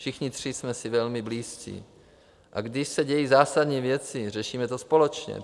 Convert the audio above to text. Všichni tři jsme si velmi blízcí, a když se dějí zásadní věci, řešíme to společně.